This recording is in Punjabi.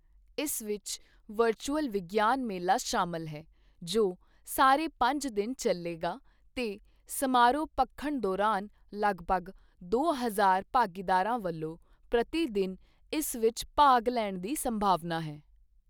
ਇਸ ਵਿੱਚ ਵਰਚੁਅਲ ਵਿਗਿਆਨ ਮੇਲਾ ਸ਼ਾਮਲ ਹੈ, ਜੋ ਸਾਰੇ ਪੰਜ ਦਿਨ ਚੱਲੇਗਾ ਤੇ ਸਮਾਰੋਹ ਭਖਣ ਦੌਰਾਨ ਲਗਭਗ 2ਹਜ਼ਾਰ ਭਾਗੀਦਾਰਾਂ ਵੱਲੋਂ ਪ੍ਰਤੀ ਦਿਨ ਇਸ ਵਿੱਚ ਭਾਗ ਲੈਣ ਦੀ ਸੰਭਾਵਨਾ ਹੈ।